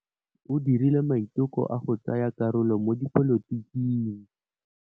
O dirile maitekô a go tsaya karolo mo dipolotiking.